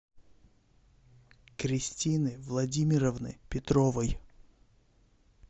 кристины владимировны петровой